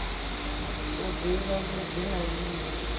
u ḓivha vhuḓi na vhuvhi